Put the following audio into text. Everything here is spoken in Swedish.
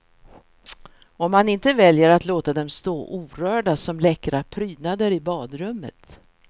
Om man inte väljer att låta dem stå orörda som läckra prydnader i badrummet.